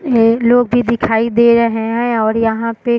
ये लोग भी दिखाई दे रहे है और यहाँ पे --